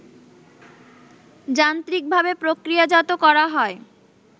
যান্ত্রিকভাবে প্রক্রিয়াজাত করা হয়